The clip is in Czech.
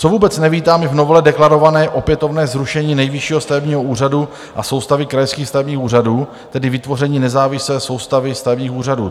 Co vůbec nevítám, je v novele deklarované opětovné zrušení Nejvyššího stavebního úřadu a soustavy krajských stavebních úřadů, tedy vytvoření nezávislé soustavy stavebních úřadů.